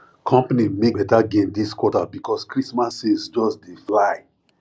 company make better gain this quarter because christmas sales just dey fly